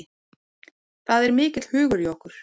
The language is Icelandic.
Það er mikill hugur í okkur